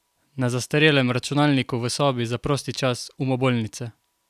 Na zastarelem računalniku v sobi za prosti čas umobolnice?